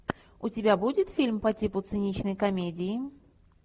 у тебя будет фильм по типу циничной комедии